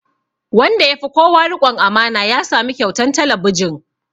Wanda ya fi kowa riƙon amana ya samu kyautan talabijin